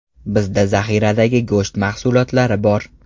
Bizda zaxiradagi go‘sht mahsulotlari bor.